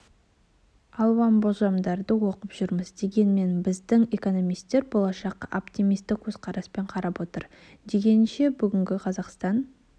алуан болжамдарды оқып жүрміз дегенмен біздің экономистер болашаққа оптимистік көзқараспен қарап отыр біздіңше бүгінде қазақстан